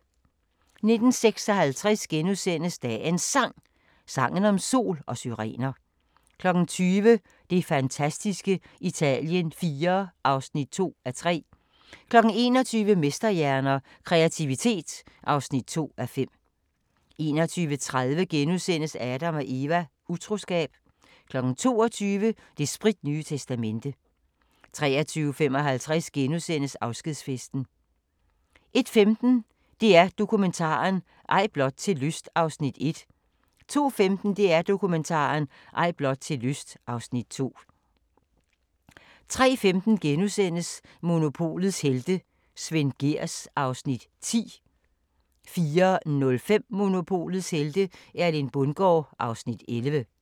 19:56: Dagens Sang: Sangen om sol og syrener * 20:00: Det fantastiske Italien IV (2:3) 21:00: Mesterhjerner – Kreativitet (2:5) 21:30: Adam & Eva: Utroskab * 22:00: Det spritnye testamente 23:55: Afskedsfesten * 01:15: DR Dokumentaren – Ej blot til lyst (Afs. 1) 02:15: DR Dokumentaren – Ej blot til lyst (Afs. 2) 03:15: Monopolets helte - Svend Gehrs (Afs. 10)* 04:05: Monopolets helte - Erling Bundgaard (Afs. 11)